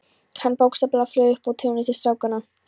Hann bókstaflega flaug upp á túnið til strákanna.